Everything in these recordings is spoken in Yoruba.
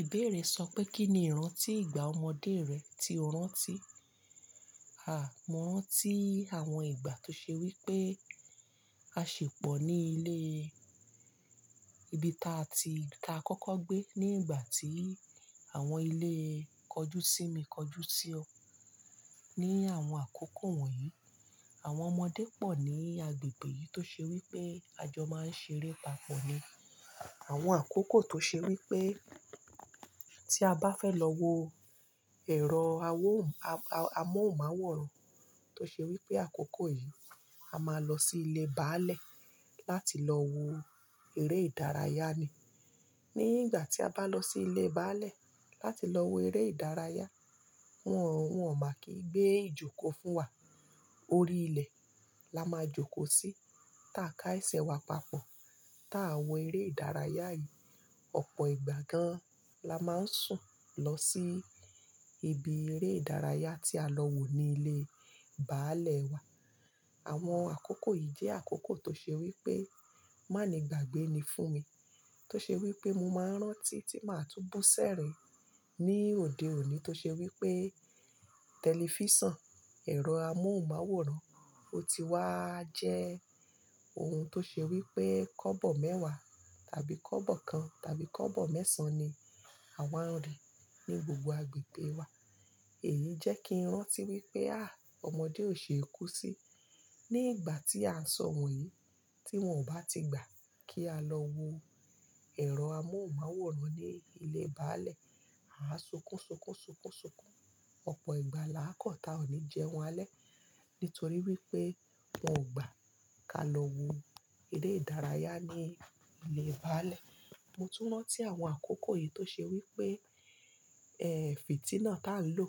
Ìbéèrè sọ pé kí ni ìrántí ìgbà ọmọdé rẹ tí o rántí? Àá mọ́ rántí àwọn ìgbà tó ṣe wí pé a ṣi pọ̀ ní ilé ibi ta ti ta kọ́kọ́ gbé ní ìgbà tí àwọn ilé kọjúsími kọjúsí ọ. Ni àwọn àkókò wọ̀nyí, àwọn ọmọdé pọ̀ ní agbègbè yìí tó ṣe wí pé àjọ máa ń ṣeré papọ̀ ni. Àwọn àkókò tó ṣe wí pé tí a bá fẹ́ lọ wo ẹ̀rọ amóhùnmáwòrán, tó ṣe wí pé àkókò yìí a máa lọ sí ilé báálẹ̀ láti lọ wo eré ìdárayá ni. Ní ìgbà tí a bá lọ sí ilé báálẹ̀ láti lọ wo eré ìdárayá, wọ́n ò máa kí gbé ìjókòó fún wa. Orí ilẹ̀ la máa jókòó sí tá ká ẹsẹ̀ wa papọ̀. Tá wo eré ìdárayá yìí, ọ̀pọ̀ ìgbà gan lá máa ń sùn lọ sí ibi eré ìdárayá tí a lọ wò ní ilé báálẹ̀ wa. Àwọn àkókò yìí jẹ́ àkókò tó ṣe wí pé má ni gbàgbé ni fún mi. Tó ṣe wí pé mo máa ń rántí tí màá tún bú sẹ̀rin ní òde òní tó ṣe wí pé tẹlifísàn, ẹ̀rọ amóhùnmáwòrán, ó ti wáá jẹ́ ohun tó ṣe wí pé kọ́bọ̀ mẹ́wàá tàbí kọ́bọ̀ kan tàbí kọ́bọ̀ mẹ́sàn-án ni àwa ń rí ní gbogbo agbègbè wa. Èyí jẹ́ kí n rántí wí pé àá ọmọdé ò ṣe é kú sí ní ìgbà tí à ń sọ̀ wọ̀nyí tí wọn ò bá ti gbà kí á lọ wo ẹ̀rọ amóhùnmáwòrán ní ilé báálẹ̀. A á sunkún, sunkún, sunkún, sunkún. Ọ̀pọ̀ ìgbà là á kọ́ ta o ní jẹun alẹ́ nítorí wí pé wọn ò gbà ká lọ wo eré ìdárayá ní ilé báálẹ̀. Mo tún rántí àwọn àkókò yìí tó ṣe wí pé, ẹ́ fìtílà tó ń lò,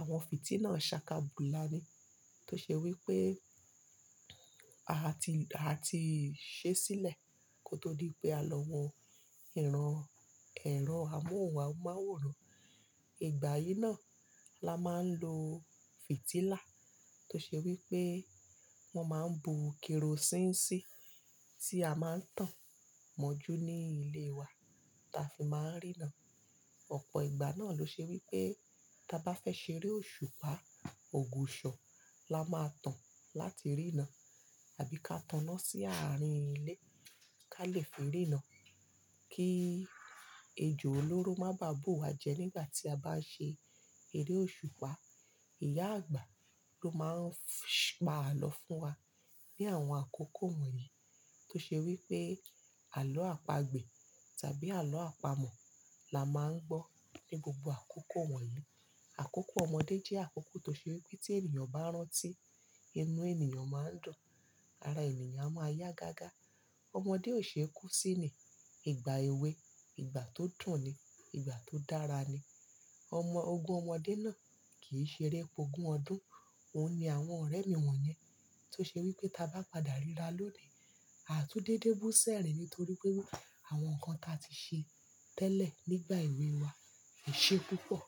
àwọn fìtílà saka bùlà ni. Tó ṣe wí pé a ti a ti ṣẹ́ sílẹ̀ kó tó di pé a lọ wo ìran ẹ̀rọ amóhùnmáwòrán. Ìgbà yìí náà la máa ń lo fìtílà tó ṣe wí pé wọn máa ń bu kerosíínì sí, tí a máa ń tàn mọ́jú ní ilé wa táa fi máa ń rína. Ọ̀pọ̀ ìgbà náà ló ṣe wí pé tí a bá fẹ́ ṣeré òṣùpá, ògùsọ lá máa tàn láti rína tàbí ká taná sí àárín ilé ká lè fi rína kí ejò olóró má bàá bù wa jẹ nígbà tí a bá ṣe eré òṣùpá. Ìyá àgbà ló máa ń pa àló fún wa ní àwọn àkókò wọ̀nyí tó ṣe wí pé àló àpagbè tàbí àló àpamọ́ la máa ń gbọ́ ní gbogbo àkókò wọ̀nyí. Àkókò ọmọdé jẹ́ àkókò tó ṣe wí pé tí ènìyàn bá rántí, inú ènìyàn máa ń dùn, ara ènìyàn máa yá gágá. Ọmọdé ò ṣe é kú sí ni. Ìgbà èwe, ìgbà tó dùn ni, ìgbà tó dára ni. Ọmọ ogún ọmọdé náà kì í ṣeré pogún ọdún. Óun ni àwọn ọ̀rẹ́ mi wọ̀nyẹn tó ṣe wí pé tí a bá padà ríra lónìí, a tún dédé bú sẹ̀rin nítorí pé àwọn nǹkan táa ti ṣe tẹ́lẹ̀ nígbà èwe wa ẹ̀ṣẹ púpọ̀.